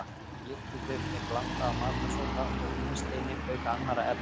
Lyftiduft er blanda af matarsóda og vínsteini auk annarra efna.